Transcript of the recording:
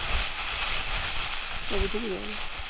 কবে থেকে যাবে?